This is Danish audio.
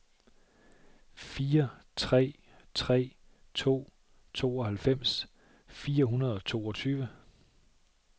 fire tre tre to tooghalvfems fire hundrede og toogtyve